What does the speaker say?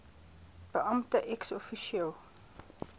beampte ex officio